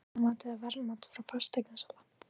Fasteignamat eða verðmat frá fasteignasala?